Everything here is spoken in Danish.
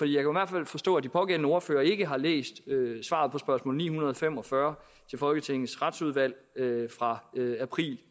i hvert fald forstå at de pågældende ordførere ikke har læst svaret på spørgsmål ni hundrede og fem og fyrre til folketingets retsudvalg fra april